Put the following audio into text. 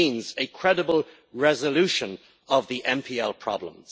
It means a credible resolution of the NPL problem.